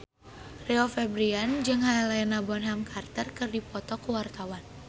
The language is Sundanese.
Rio Febrian jeung Helena Bonham Carter keur dipoto ku wartawan